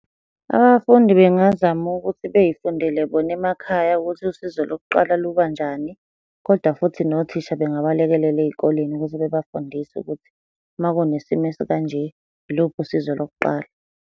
Abafundi bengazama ukuthi bey'fundele bona emakhaya ukuthi usizo lokuqala luba njani, koda futhi nothisha bengabalekelela ey'koleni ukuze bebafundise ukuthi, uma kunesimo esikanje, yiluphi usizo lokuqala.